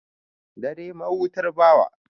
Dare, mahutar bawa.